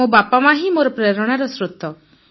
ମୋ ବାପାମା ହିଁ ମୋର ପ୍ରେରଣାର ସ୍ରୋତ